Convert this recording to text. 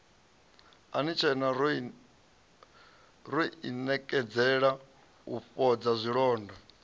ro inekedzela u fhodza zwilonda